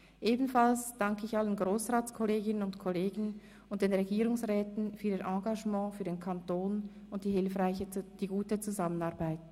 Ebenfalls danke ich allen Grossratskolleginnen und -kollegen und den Regierungsräten für ihr Engagement für den Kanton und die gute Zusammenarbeit.